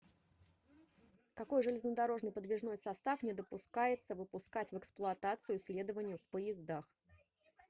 какой железнодорожный подвижной состав не допускается выпускать в эксплуатацию следованию в поездах